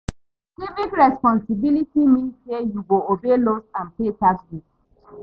Civic responsibility mean say yu go obey laws and pay taxes